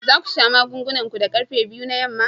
Za ku sha magungunan ku da karfe biyu na yamma?